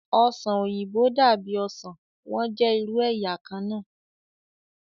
Ọsan oyinbo dabi osan, wọn jẹ iru ẹya kanna